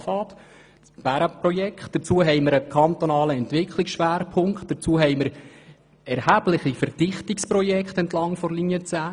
Zudem haben wir einen kantonalen Entwicklungsschwerpunkt sowie erhebliche Verdichtungsprojekte entlang der Linie 10.